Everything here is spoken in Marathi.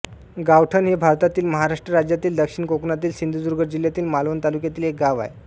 गावठण हे भारतातील महाराष्ट्र राज्यातील दक्षिण कोकणातील सिंधुदुर्ग जिल्ह्यातील मालवण तालुक्यातील एक गाव आहे